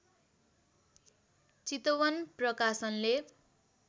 चितवन प्रकाशनले